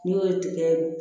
N'i y'o ye tigɛ